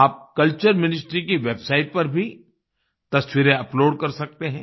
आप culture ministry की website पर भी तस्वीरें अपलोड कर सकते हैं